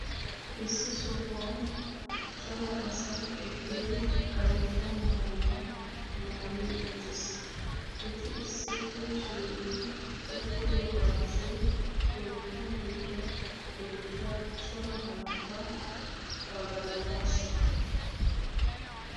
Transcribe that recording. issi sohuwan cora asay eqqidi karetta maayuwaa maayi uttiis. eti issippe shiiqqi uttido gaasoy toophphiyaa giddon beettiya cora yohota pagalanaassa.